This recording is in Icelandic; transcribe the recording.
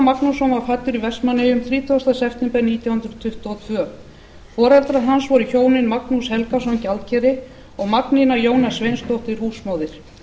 magnússon var fæddur í vestmannaeyjum þrítugasta september nítján hundruð tuttugu og tveir foreldrar hans voru hjónin magnús helgason gjaldkeri og magnína jóna sveinsdóttir húsmóðir